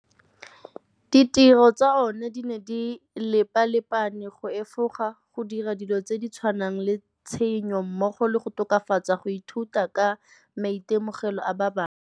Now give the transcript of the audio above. Ditiro tsa ona di ne di lepalepane go efoga go dira dilo tse di tshwanang le tshenyo mmogo le go tokafatsa go ithuta ka maitemogelo a ba bangwe.